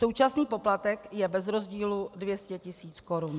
Současný poplatek je bez rozdílu 200 tis. korun.